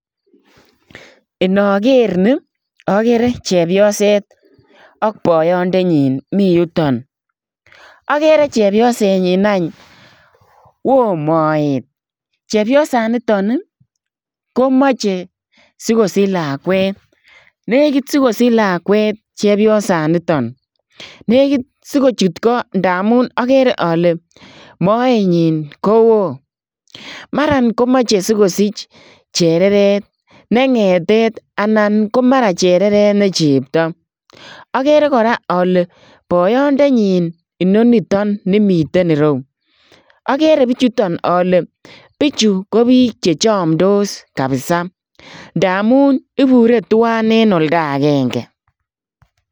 Inager nii agere chepyoseet ak boyoondenyiin Mii yutoon agere chepyoseet nyiin aaany wooh moet chepyosaan nitoon ii ko machei sikosiich lakwet nekiit sikosiich lakwet chepyosaan nitoon négit sikochuut Koo ndamuun agere ale moenyiin ko wooh mara komachei sikosiich chereret ne ngetet anan ko mara ko chereret ne cheptaa agere kora ale boyoondenyiin inonitoon nemiten ireyuu agere bichutoon ale bichuu ko biik che chamdos kabisa ndamuun ibure tuan en oldagengei.